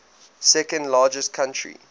second largest country